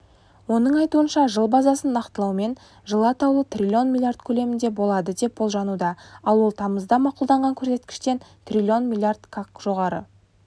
оның айтуынша жыл базасын нақтылаумен жылы атаулы трлн млрд көлемінде болады деп болжануда ал ол тамызда мақұлданған көрсеткіштен трлн млрд-қак жоғары